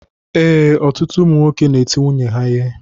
Ee, ọtụtụ ụmụ nwoke n'eti nwunye ha ihe